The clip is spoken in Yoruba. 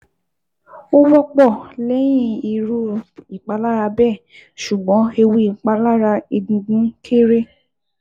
Ó wọ́pọ̀ lẹ́yìn irú ìpalára bẹ́ẹ̀ ṣùgbọ́n ewu ìpalára egungun kééré